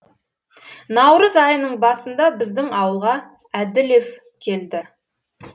наурыз айының басында біздің ауылға әділев келді